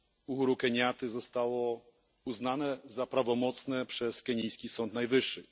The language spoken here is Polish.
Uhuru Kenyatty zostało uznane za prawomocne przez kenijski Sąd Najwyższy.